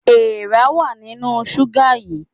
Èèrà wà nínú ṣúgà yìí.